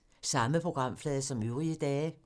Samme programflade som øvrige dage